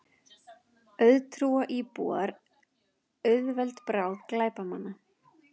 Auðtrúa íbúar auðveld bráð glæpamanna